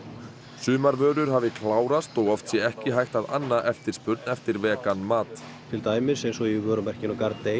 sumar vörur hafi klárast og oft sé ekki hægt að anna eftirspurn eftir vegan mat til dæmis eins og í vörumerkinu